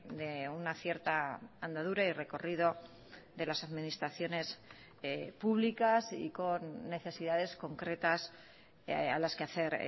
de una cierta andadura y recorrido de las administraciones públicas y con necesidades concretas a las que hacer